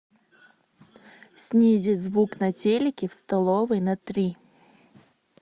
снизить звук на телике в столовой на три